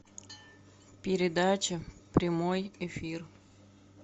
передача прямой эфир